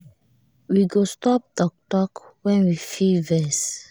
we go stop talk talk when we feel vex